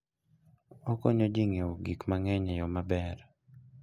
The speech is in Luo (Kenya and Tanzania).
Okonyo ji ng'iewo gik mang'eny e yo maber.